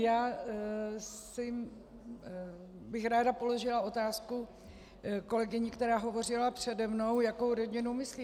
Já bych ráda položila otázku kolegyni, která hovořila přede mnou, jakou rodinu myslí.